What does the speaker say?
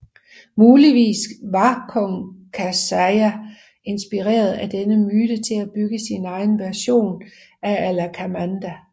Muligvis var kong Kasyapa inspireret af denne myte til at bygge sin egen version af Alakamanda